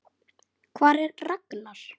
Hvar er Ragnar?